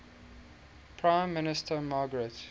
prime minister margaret